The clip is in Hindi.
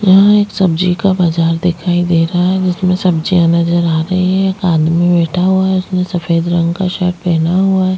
यहाँ एक सब्जी का बाजार दिखाई दे रहा है जिसमें सब्जियाँ नजर आ रहै है एक आदमी बैठा हुआ है उसने सफ़ेद रंग का शर्ट पेहना हुआ हैं।